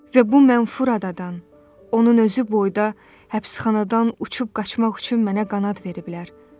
Və bu mənfur adadan, onun özü boyda həbsxanadan uçub qaçmaq üçün mənə qanad veriblər.